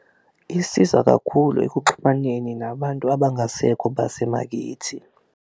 Isiza kakhulu ekuxhumaneni nabantu abangasekho basemakithi.